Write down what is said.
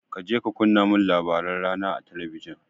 Kaje ka kunna min labaran rana a talabijin.